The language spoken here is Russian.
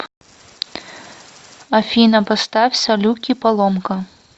афина поставь салюки поломка